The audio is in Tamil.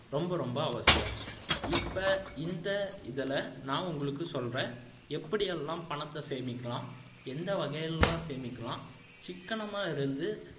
ரொம்ப ரொம்ப அவசியம் இப்ப இந்த இதுல நான் உங்களுக்கு சொல்றேன் எப்படி எல்லாம் பணத்தை சேமிக்கலாம் எந்த வகையில் எல்லாம் சேமிக்கலாம் சிக்கனமா இருந்து